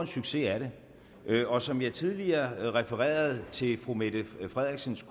succes er den og som jeg tidligere refererede til fru mette frederiksens